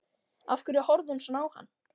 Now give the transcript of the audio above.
Af hverju horfði hún svona á hann?